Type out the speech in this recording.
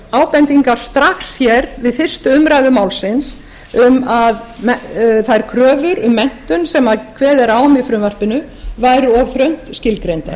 ábendingar strax við fyrstu umræðu málsins um að þær kröfur um menntun sem kveðið er á um í frumvarpinu væru of þröngt skilgreindar